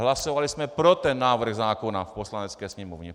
Hlasovali jsme pro ten návrh zákona v Poslanecké sněmovně.